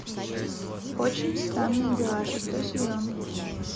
очень странные дела шестой сезон